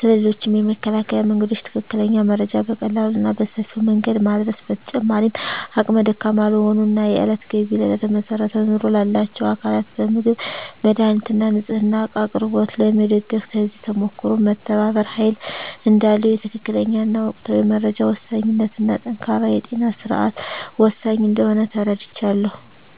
ስለ ሌሎችም የመከላከያ መንገዶች ትክክለኛ መረጃ በቀላሉ እና በሰፊው መንገድ ማዳረስ። በተጨማሪም አቅመ ደካማ ለሆኑ እና የእለት ገቢ ላይ ለተመሰረተ ኑሮ ላላቸው አካላት በምግብ፣ መድሃኒት እና ንፅህና እቃ አቅርቦት ላይ መደገፍ። ከዚህ ተሞክሮም መተባበር ኃይል እዳለው፣ የትክክለኛ እና ወቅታዊ መረጃ ወሳኝነት እና ጠንካራ የጤና ስርዓት ወሳኝ እንደሆነ ተረድቻለሁ።